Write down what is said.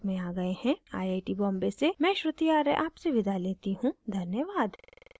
I I T Bombay से मैं श्रुति आर्य आपसे विदा लेती you धन्यवाद